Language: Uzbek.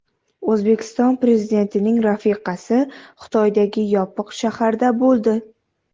O‘zbekiston Prezidentining rafiqasi Xitoydagi Yopiq shaharda bo‘ldi.